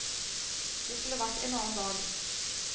Det skulle vært en annen dag.